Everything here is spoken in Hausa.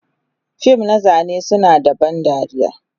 fim na zane suna da ban dariya,